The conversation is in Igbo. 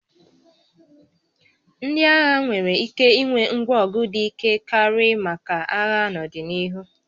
Ndị agha nwere ike ịnwe ngwa ọgụ dị ike karị maka agha n'ọdịnihu